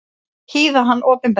Hýða hann opinberlega!